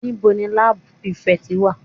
Níbo ni labour prefect wà?